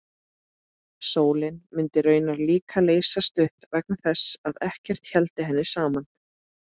Sólin mundi raunar líka leysast upp vegna þess að ekkert héldi henni saman.